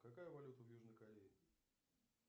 какая валюта в южной корее